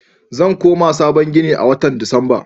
Zan koma sabon ginin a watan Disamba.